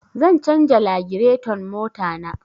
Zan canja lagireton mota na